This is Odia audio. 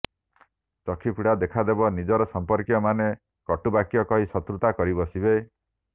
ଚକ୍ଷୁ ପୀଡା ଦେଖାଦେବ ନିଜ ସମ୍ପର୍କୀୟମାନେ କଟୁବାକ୍ୟ କହି ଶତ୍ରୁତା କରିବସିବେ